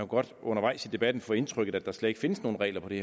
godt undervejs i debatten få indtryk af at der slet ikke findes nogen regler på det